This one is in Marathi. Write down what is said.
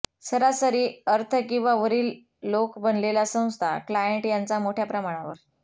सरासरी अर्थ किंवा वरील लोक बनलेला संस्था क्लायंट यांचा मोठ्या प्रमाणावर